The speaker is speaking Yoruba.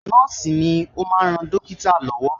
Nọ́ọ̀sì ni ó máa ń ran dọ́kítà lọ́wọ́